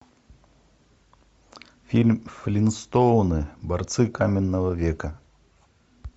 фильм флинстоуны борцы каменного века